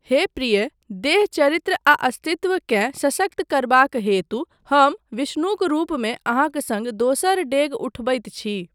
हे प्रिये, देह, चरित्र आ अस्तित्व केँ सशक्त करबाक हेतु हम विष्णुक रूपमे अहाँक सङ्ग दोसर डेग उठबैत छी।